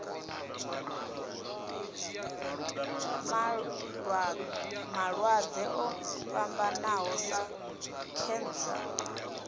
malwadze o fhambanaho sa khentsa